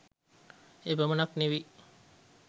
එපමණක් නෙවෙයි